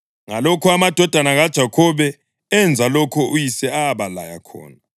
Ngalokho amadodana kaJakhobe enza lokho uyise abalaya khona: